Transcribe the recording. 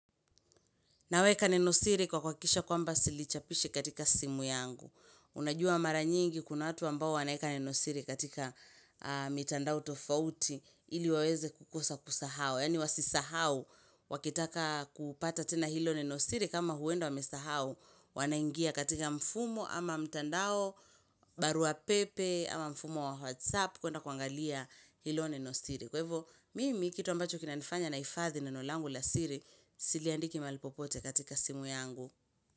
Naweka nenosiri kwa kuhakikisha kwamba silichapishi katika simu yangu. Unajua mara nyingi kuna watu ambao wanaeka nenosiri katika mitandao tofauti ili waweze kukosa kusahau. Yaani wasisahau wakitaka kupata tena hilo nenosiri kama huenda wamesahau wanaingia katika mfumo ama mtandao, barua pepe ama mfumo wa whatsapp kuenda kuangalia hilo nenosiri. Kwa hivo, mimi kitu ambacho kina nifanya nahifadhi neno langu la siri, siliandiki mahali popote katika simu yangu.